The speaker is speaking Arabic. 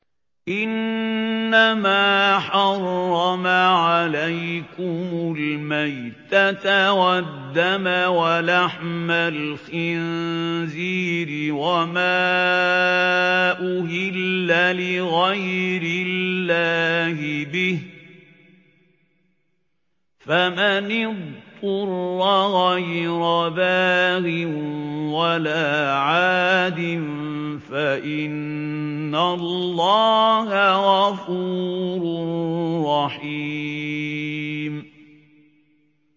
إِنَّمَا حَرَّمَ عَلَيْكُمُ الْمَيْتَةَ وَالدَّمَ وَلَحْمَ الْخِنزِيرِ وَمَا أُهِلَّ لِغَيْرِ اللَّهِ بِهِ ۖ فَمَنِ اضْطُرَّ غَيْرَ بَاغٍ وَلَا عَادٍ فَإِنَّ اللَّهَ غَفُورٌ رَّحِيمٌ